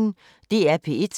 DR P1